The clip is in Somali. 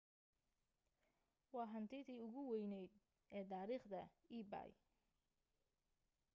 waa hantidii ugu weyneed ee taariikhda ebay